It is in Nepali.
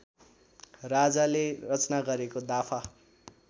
राजाले रचना गरेको दाफा